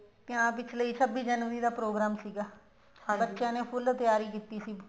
ਤੇ ਆਂ ਪਿਛਲੇ ਛੱਬੀ ਜਨਵਰੀ ਦਾ program ਸੀਗਾ ਬੱਚਿਆਂ ਨੇ full ਤਿਆਰੀ ਕੀਤੀ ਸੀ